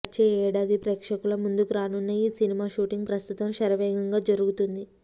వచ్చే ఏడాది ప్రేక్షకుల ముందుకు రానున్న ఈ సినిమా షూటింగ్ ప్రస్తుతం శరవేగంగా జరుగుతుంది